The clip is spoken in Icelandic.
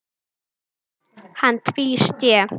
Hann tvísté.